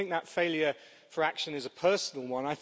I don't think that failure for action is a personal one.